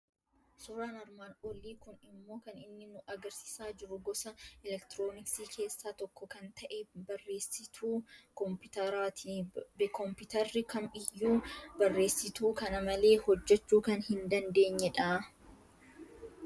Suuraan armaan olii kun immoo kan inni nu argisiisaa jiru gosa elektirooniksii keessaa tokko kan ta'e, barreessituu Kompiitaraa ti. Kompiitarri kam iyyuu barreessituu kana malee hojjechuu kan hin dandeenye dha.